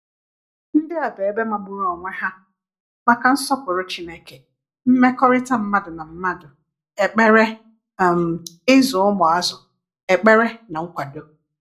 Ndị a bụ ebe magburu onwe ha maka nsọpụrụ Chineke, mmekọrịta mmadụ na mmadụ, ekpere, um ịzụ ụmụazụ, ekpere na nkwado.